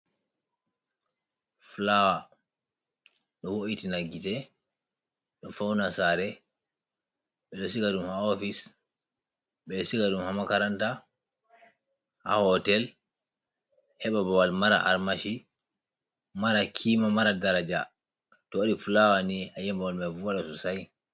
Flower ɗo wo’itina gite ɗo fauna sare. Ɓeɗo siga ɗum ha office, ɓeɗo siga ɗum ha makaranta, ha hotel... heɓa babal mara armashi, mara kima, mara daraja. to waɗi flower ni ayiyan babal mai vodan sosai.